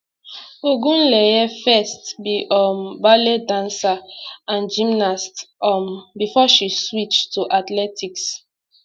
ogunleye first be um ballet dancer and gymnast um before she switch to athletics